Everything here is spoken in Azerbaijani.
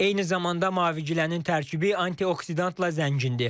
Eyni zamanda mavigilənin tərkibi antioksidantla zəngindir.